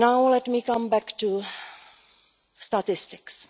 Let me come back to statistics.